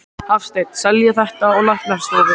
Hafsteinn: Selja þetta á læknastofur?